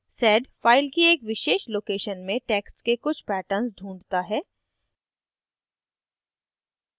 sed file की एक विशेष location में text के कुछ पैटर्न्स ढूँढता है